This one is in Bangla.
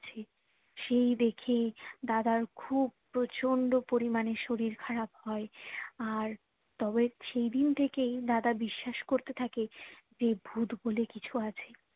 সেই দেখে দাদার খুব প্রচন্ড পরিমানে শরীর খারাপ হয়ে আর তবে সেদিন থেকেই দাদা বিশ্বাস করতে থাকে যে ভূত বলে কিছু আছে